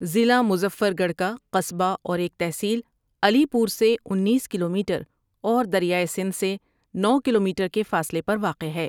ضلع مظفر گڑھ کا، قصبہ اور ایک تحصیل، علی پور سے انیس کلو میٹر اور دریائے سندھ سے نو کلو میٹر کے فاصلے پر واقع ہے ۔